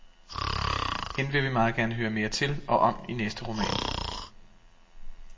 Hende vil vi meget gerne høre mere til og om i næste roman.